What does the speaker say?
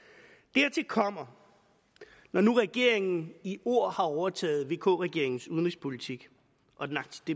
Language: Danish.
dertil kommer når nu regeringen i ord har overtaget vk regeringens udenrigspolitik